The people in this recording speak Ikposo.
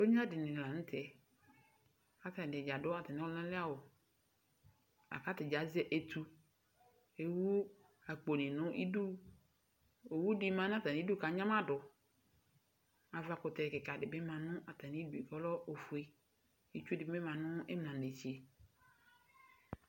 Emlo ɛdɩnɩ lanʋ tɛ, kʋ atani adu atami ɔlʋnali awu Akʋ atadza azɛ etu Ewu akpo nɩ nʋ idu Owu dɩ ma nʋ atamidu kʋ anyamadʋ Ava kʋtɛ kika dɩ bɩ ma nʋ atami ɩdʋ kʋ ɔlɛ ofue Itsu dɩ bɩ ma nʋ imlanetse